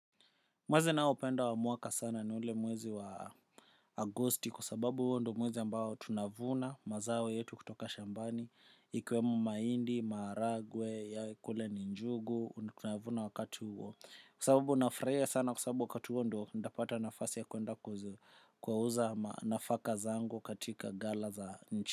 Mwezi ninaopenda wa mwaka sana ni ule mwezi wa agosti kwa sababu huo ndo mwezi ambao tunavuna mazao yetu kutoka Shambani Ikiwemo mahindi, maharagwe, kule ni njugu, tunavuna wakati huo. Kwa sababu nafurahia sana kwa sababu wakati huo ndo ntapata nafasi ya kuenda ku kuuza nafaka zangu katika gala za nchi.